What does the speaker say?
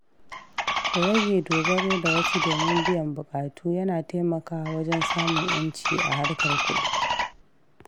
Rage dogaro da wasu domin biyan buƙatu yana taimakawa wajen samun ‘yanci a harkar kuɗi.